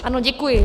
Ano, děkuji.